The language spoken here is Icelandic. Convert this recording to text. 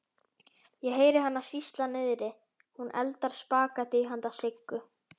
Ég heyri hana sýsla niðri, hún eldar spagettí handa Siggu.